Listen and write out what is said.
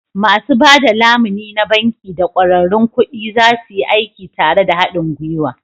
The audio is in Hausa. Masu ba da lamuni na banki da ƙwararrun kuɗi za su yi aiki tare da haɗin gwiwa.